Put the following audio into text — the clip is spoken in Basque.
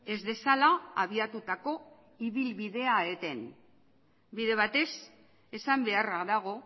ez dezala abiatutako ibilbidea eten bide batez esan beharra dago